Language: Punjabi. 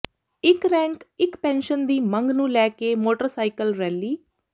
ਇੱਕ ਰੈਂਕ ਇਕ ਪੈਨਸ਼ਨ ਦੀ ਮੰਗ ਨੂੰ ਲੈ ਕੇ ਮੋਟਰਸਾਈਕਲ ਰੈਲੀ